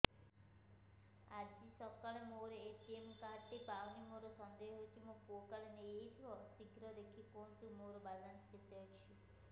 ଆଜି ସକାଳେ ମୋର ଏ.ଟି.ଏମ୍ କାର୍ଡ ଟି ପାଉନି ମୋର ସନ୍ଦେହ ହଉଚି ମୋ ପୁଅ କାଳେ ନେଇଯାଇଥିବ ଶୀଘ୍ର ଦେଖି କୁହନ୍ତୁ ମୋର ବାଲାନ୍ସ କେତେ ଅଛି